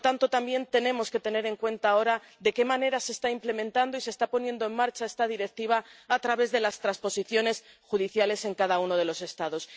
También tenemos que tener en cuenta ahora de qué manera se está implementando y se está poniendo en marcha esta Directiva a través de las transposiciones judiciales en cada uno de los Estados.